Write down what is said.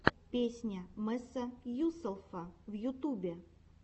песня месса юселфа в ютубе